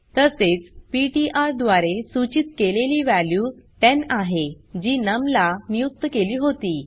तसेच पीटीआर द्वारे सूचीत केलेली वॅल्यू 10 आहे जी नम ला नियुक्त केली होती